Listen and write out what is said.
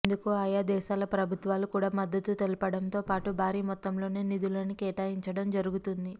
ఇందుకు ఆయా దేశాల ప్రభుత్వాలు కూడా మద్దతు తెలుపడంతో పాటు భారీ మొత్తంలోనే నిధులను కేటాయించడం జరుగుతుంది